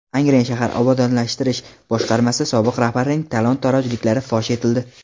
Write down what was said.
Angren shahar obodonlashtirish boshqarmasi sobiq rahbarining talon-torojliklari fosh etildi.